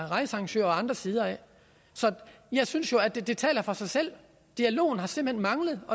rejsearrangørerne og andre sider så jeg synes jo at det taler for sig selv dialogen har simpelt hen manglet